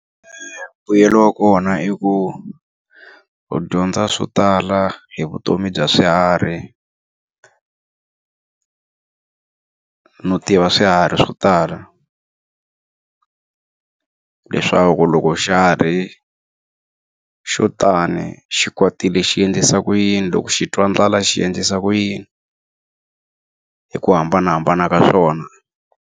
Mbuyelo wa kona i ku, u dyondza swo tala hi vutomi bya swiharhi no tiva swiharhi swo tala. leswaku loko xiharhi xo tani xi kwatile xi endlisa ku yini, loko xi twa ndlala xi endlisa ku yini, hi ku hambanahambana ka swona.